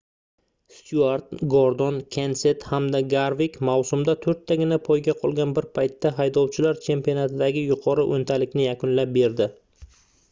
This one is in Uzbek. styuart gordon kenset hamda garvik mavsumda toʻrttagina poyga qolgan bir paytda haydovchilar chempionatidagi yuqori oʻntalikni yakunlab berdi